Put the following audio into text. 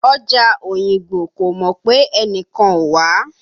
Ọjà Òyìngbò kò mọ̀ pé ẹnìkan ò wá